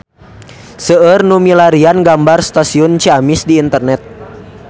Seueur nu milarian gambar Stasiun Ciamis di internet